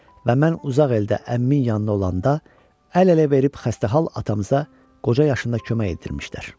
Və mən uzaq eldə əmmimin yanında olanda əl-ələ verib xəstəhal atamıza qoca yaşında kömək edirdilər.